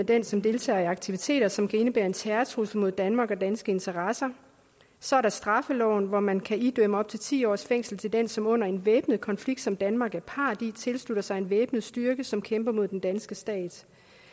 den som deltager i aktiviteter som kan indebære en terrortrussel mod danmark og danske interesser så er der straffeloven hvor man kan idømme op til ti års fængsel til den som under en væbnet konflikt som danmark er part i tilslutter sig en væbnet styrke som kæmper mod den danske stat